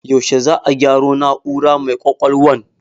Yaushe za a gyaro na'ura mai ƙwaƙwalwan?